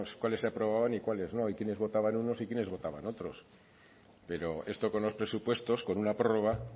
cuáles se aprobaban y cuáles no y quiénes votaban unos y quiénes votaban otros pero esto con los presupuestos con una prórroga